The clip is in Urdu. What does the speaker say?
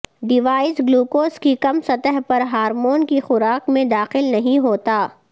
ڈیوائس گلوکوز کی کم سطح پر ہارمون کی خوراک میں داخل نہیں ہوتا